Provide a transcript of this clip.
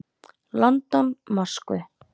London, Moskvu.